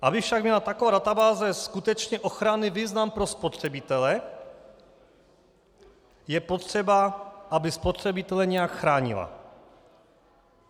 Aby však měla taková databáze skutečně ochranný význam pro spotřebitele, je potřeba, aby spotřebitele nějak chránila.